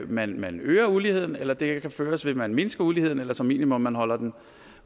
man man øger uligheden eller den kan føres ved at man mindsker uligheden eller som minimum holder